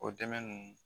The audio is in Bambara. O dɛmɛ ninnu